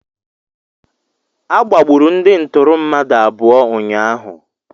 Agbagburu ndị ntụrụ mmadụ abụọ ụnyaahụ.